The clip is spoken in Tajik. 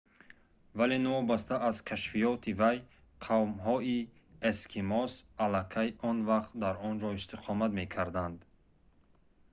вале новобаста аз кашфиёти вай қавмҳои эскимос аллакай он вақт дар он ҷо истиқомат мекарданд